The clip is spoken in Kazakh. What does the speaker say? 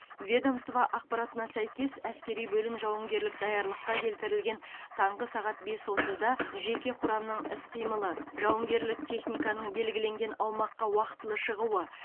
ведомство ақпаратына сәйкес әскери бөлім жауынгерлік даярлыққа келтірілген таңғы сағат бес отызда жеке құрамның іс қимылы жауынгерлік техниканың белгіленген аумаққа уақытылы шығуы